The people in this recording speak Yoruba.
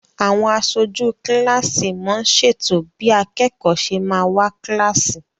Àwọn aṣojú kilasi món ṣètò bí akẹkọ ṣe má wá kilasi.